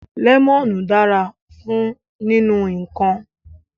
Lemonu dara fun ninu nnkan